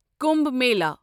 Kumbh Mela